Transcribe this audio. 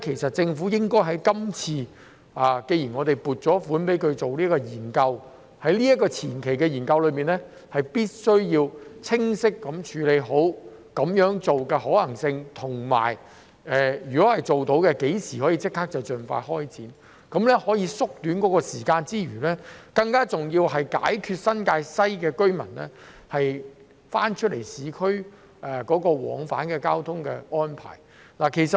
所以，既然我們已經撥款進行研究，政府應該在前期研究中清晰地探討其可行性，以及如果做得到，最快可於何時開展工作，因為這樣除了可縮短時間外，更能解決新界西居民往返市區的交通安排。